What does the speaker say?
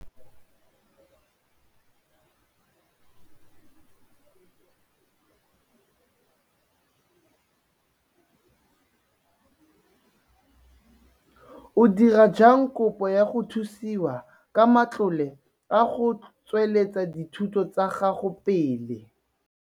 O dira jang kopo ya go thusiwa ka matlole a go tsweletsa dithuto tsa gago pele?